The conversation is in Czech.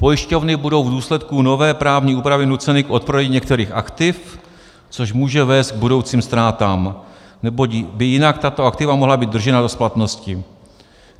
Pojišťovny budou v důsledku nové právní úpravy nuceny k odprodeji některých aktiv, což může vést k budoucím ztrátám, neboť by jinak tato aktiva mohla být držena do splatnosti.